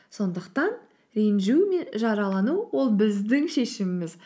сондықтан ренжу мен жаралану ол біздің шешіміміз